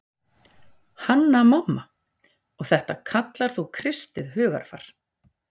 Hanna-Mamma:- Og þetta kallar þú kristið hugarfar.